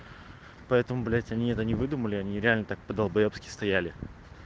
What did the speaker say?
поэтому блядь они это не выдумали они реально так долбоёбски стояли